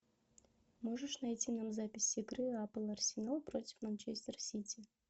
можешь найти нам запись игры апл арсенал против манчестер сити